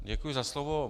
Děkuji za slovo.